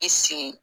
I sen